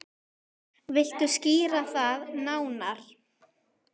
Viltu skýra það nánar?